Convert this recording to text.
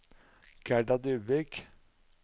Gerda Dybvik